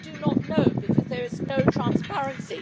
We do not know, because there is no transparency.